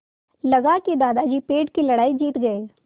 लगा कि दादाजी पेड़ की लड़ाई जीत गए